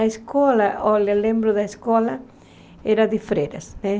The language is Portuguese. A escola, olha, lembro da escola, era de freiras, né?